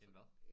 En hvad